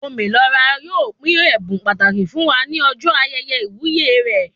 Ome Lo Ra yóò pín ẹbùn pàtàkì fún wá ní ọjọ ayẹyẹ iwuye rẹ